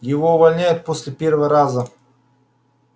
его увольняют после первого раза